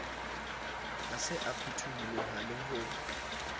ha se a phutholoha ho